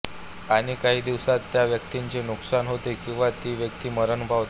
आणि काही दिवसात त्या व्यक्तीचे नुकसान होते किंवा ती व्यक्ती मरण पावते